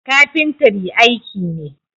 Kafintri aiki ne.